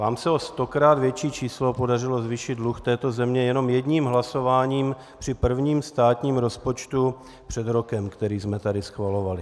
Vám se o stokrát větší číslo podařilo zvýšit dluh této země jenom jedním hlasováním při prvním státním rozpočtu před rokem, který jsme tady schvalovali.